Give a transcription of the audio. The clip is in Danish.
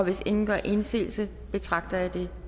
hvis ingen gør indsigelse betragter jeg det